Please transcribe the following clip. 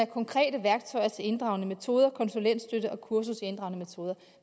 konkrete værktøjer til inddragende metoder konsulentstøtte og kursusinddragende metoder